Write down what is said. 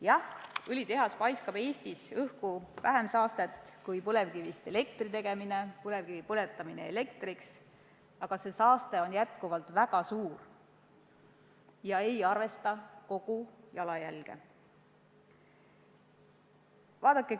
Jah, õlitehas paiskab Eestis õhku vähem saastet kui põlevkivist elektri tegemine, põlevkivi põletamine elektriks, aga tekkiv saastekogus on ikkagi väga suur ega arvesta kogu jalajälge.